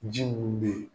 Ji mun be yen